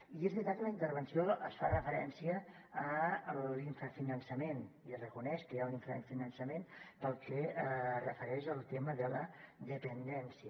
i és veritat que a la intervenció es fa referència a l’infrafinançament i es reconeix que hi ha un infrafinançament pel que es refereix al tema de la dependència